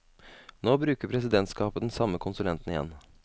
Nå bruker presidentskapet den samme konsulenten igjen.